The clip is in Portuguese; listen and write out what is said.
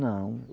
Não.